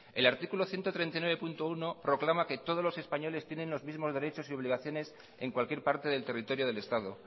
el artículo ciento treinta y nueve punto uno proclama que todos los españoles tienen los mismos derechos y obligaciones en cualquier parte del territorio del estado